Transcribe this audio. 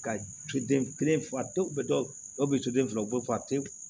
Ka soden kelen fa denw bɛ dɔw bɛ so den filaw bɔ fa te